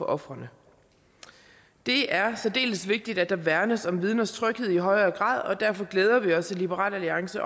ofrene det er særdeles vigtigt at der værnes om vidners tryghed i højere grad og derfor glæder vi os i liberal alliance